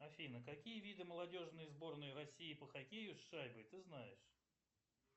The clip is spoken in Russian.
афина какие виды молодежной сборной россии по хоккею с шайбой ты знаешь